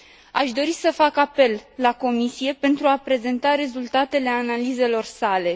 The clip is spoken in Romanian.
Aș dori să fac apel la Comisie pentru a prezenta rezultatele analizelor sale.